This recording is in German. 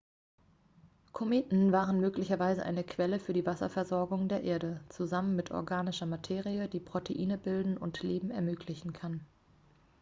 kometen waren möglicherweise eine quelle für die wasserversorgung der erde zusammen mit organischer materie die proteine bilden und leben ermöglichen kann